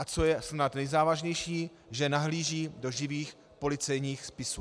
A co je snad nejzávažnější, že nahlíží do živých policejních spisů.